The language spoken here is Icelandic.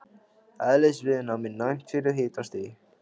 Eðlisviðnám er næmt fyrir hitastigi.